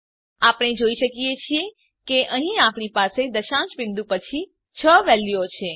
આપણે જોઈ શકીએ છીએ કે અહીં આપણી પાસે દશાંશ બીંદુ પછી ૬ વેલ્યુઓ છે